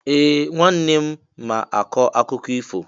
Ee! Nwanne m ma akọ akụkọ ifo.